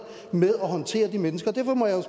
med at håndtere de mennesker derfor må jeg